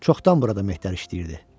Çoxdan burada mehdər işləyirdi.